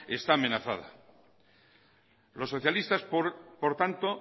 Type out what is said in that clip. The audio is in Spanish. está amenazada los socialistas por tanto